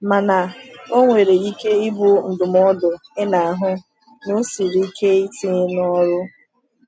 Mana ọ nwere ike ịbụ ndụmọdụ ị na-ahụ na ọ siri ike itinye n’ọrụ.